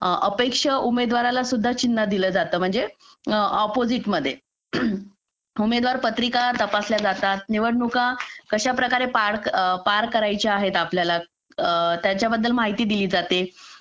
अपेक्षा उमेदवाराला सुद्धा चिन्ह दिलं जातं म्हणजे अपोजिटमध्ये उमेदवार पत्रिका तपासल्या जातात निवडणुका कशा प्रकारे पार करायचे आहेत आपल्याला त्याच्याबद्दल माहिती दिली जाते